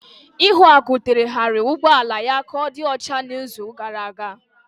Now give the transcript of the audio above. Ihuaku terehariri ụgbọ ala ya ka ọ dị ọcha n'izu gara aga.